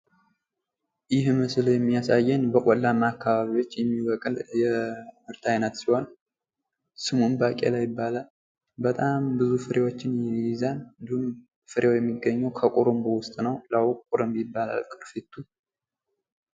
ይህ ምስል ላይ የሚያሳየን በቆላማ አካባቢዎች የሚበቅል የምርት ዓይነት ሲሆን ስሙም ባቄላ ላይ ይባላል። በጣም ብዙ ፍሬዎችን ይይዛል እንዲሁም ፍሬው የሚገኘው ከቁሩምባው ውስጥ ነው። ላዩ ቁሩምባው ይባላል።